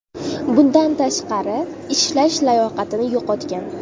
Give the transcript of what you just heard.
Bundan tashqari, ishlash layoqatini yo‘qotgan.